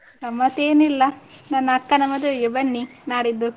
ಗಮ್ಮತ್ತೆನಿಲ್ಲ ನನ್ನ ಅಕ್ಕನ ಮದುವೆಗೆ ಬನ್ನಿ ನಾಡಿದ್ದು.